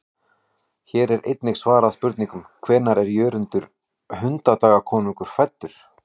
Hér er einnig svarað spurningunum: Hvenær er Jörundur hundadagakonungur fæddur?